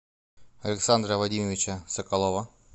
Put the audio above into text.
александра вадимовича соколова